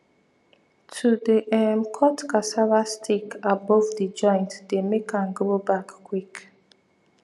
to dey um cut cassava stick above the joint dey make am grow back quick